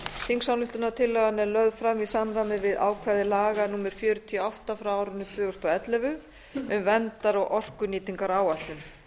þingsályktunartillagan er lögð fram í samræmi við ákvæði laga númer fjörutíu og átta tvö þúsund og ellefu um verndar og orkunýtingaráætlun